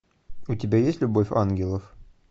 у тебя есть любовь ангелов